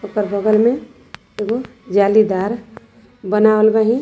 पर बगल में एगो जालीदार बनावल बाहिन।